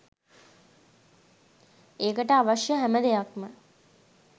ඒකට අවශ්‍ය හැම දෙයක්‌ම .